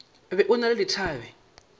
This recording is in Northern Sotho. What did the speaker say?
be o na le dithabe